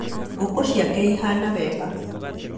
Ngũkũ ciake ihana wega